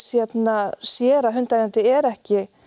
hérna sér að hundaeigandi er ekki